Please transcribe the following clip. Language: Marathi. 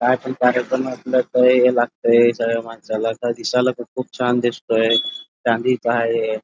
काय पण कार्यक्रम असल तर हे लागत सगळ माणसाला दिसायला खूप खुप छान दिसतय चांदी च हाय हे.